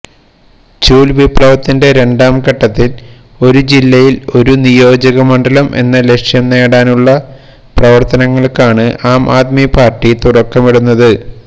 ചൂൽ വിപ്ലവത്തിന്റെ രണ്ടാംഘട്ടത്തിൽ ഒരു ജില്ലയിൽ ഒരു നിയോജകമണ്ഡലം എന്ന ലക്ഷ്യം നേടാനുള്ള പ്രവർത്തനങ്ങൾക്കാണ് ആം ആദ്മി പാർട്ടി തുടക്കമിടുന്നത്